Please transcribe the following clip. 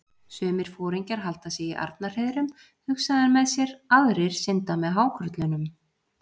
Sumir foringjar halda sig í arnarhreiðrum, hugsaði hann með sér, aðrir synda með hákörlunum.